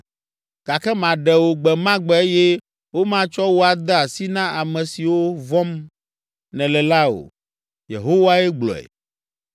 Gake maɖe wò gbe ma gbe eye womatsɔ wò ade asi na ame siwo vɔ̃m nèle la o. Yehowae gblɔe.